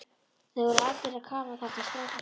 Þeir voru allir að kafa þarna strákarnir.